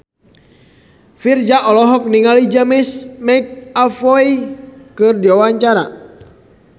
Virzha olohok ningali James McAvoy keur diwawancara